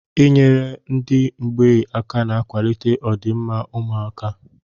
I nyere ndị mgbei aka na-ewulite ọ dị mma ụmụaka.